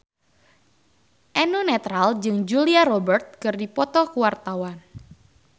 Eno Netral jeung Julia Robert keur dipoto ku wartawan